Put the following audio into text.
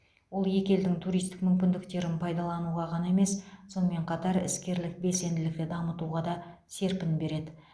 ол екі елдің туристік мүмкіндіктерін пайдалану ғана емес сонымен қатар іскерлік белсенділікті дамытуға да серпін береді